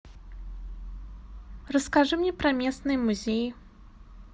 расскажи мне про местные музеи